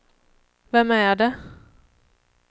vem är det